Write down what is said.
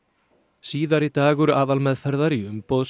síðari dagur aðalmeðferðar í umboðs